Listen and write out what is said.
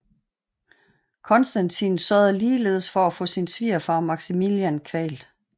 Konstantin sørgede ligeledes for at få sin svigerfar Maximinian kvalt